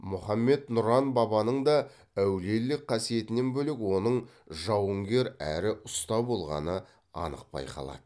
мұхаммед нұран бабаның да әулиелік қасиетінен бөлек оның жауынгер әрі ұста болғаны анық байқалады